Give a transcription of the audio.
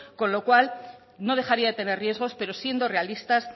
con lo cual no dejaría de tener riesgos pero siendo realistas